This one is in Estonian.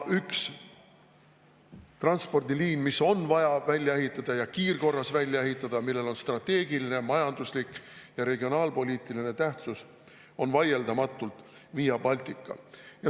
Üks transpordiliin, mis on vaja välja ehitada, ja kiirkorras välja ehitada, millel on strateegiline, majanduslik ja regionaalpoliitiline tähtsus, on vaieldamatult Via Baltica.